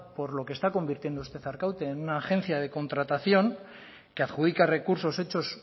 por lo que está convirtiendo usted arkaute en una agencia de contratación que adjudica recursos hechos